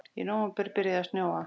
Í nóvember byrjaði að snjóa.